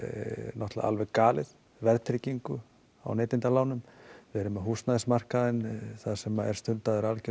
náttúrulega alveg galið verðtryggingu á neytendalánum við erum með húsnæðismarkaðinn þar sem er stundaður alger